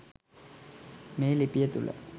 මේ ලිපිය තුළ